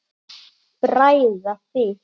Bræða þig.